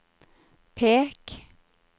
pek